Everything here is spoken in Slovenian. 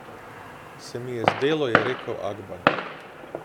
Se mi je zdelo, je rekel Akbar.